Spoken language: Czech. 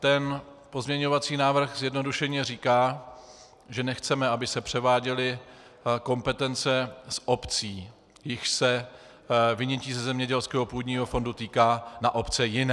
Ten pozměňovací návrh zjednodušeně říká, že nechceme, aby se převáděly kompetence z obcí, jichž se vynětí ze zemědělského půdního fondu týká, na obce jiné.